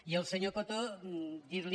i al senyor coto dir·li